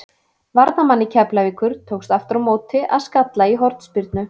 Varnarmanni Keflavíkur tókst aftur á móti að skalla í hornspyrnu.